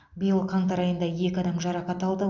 биыл қаңтар айында екі адам жарақат алды